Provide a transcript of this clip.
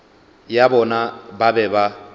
ya bona ba be ba